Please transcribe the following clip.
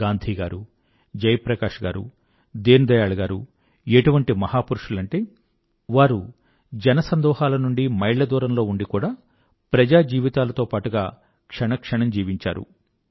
గాంధీ గారు జయప్రకాశ్ గారు దీన్ దయాళ్ గారూ ఎటువంటి మహాపురుషులంటే వారు జనసందోహాల నుండి మైళ్ల దూరంలో ఉండి కూడా ప్రజాజీవితాలతో పాటుగా క్షణం క్షణం జీవించారు